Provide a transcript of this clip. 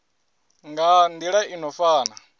nga nila i no fana